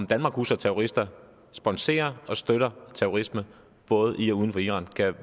danmark huser terrorister sponserer og støtter terrorisme både i og uden for iran